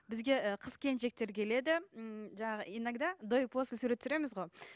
бізге ы қыз келіншектер келеді м жаңағы иногда до и после сурет түсіреміз ғой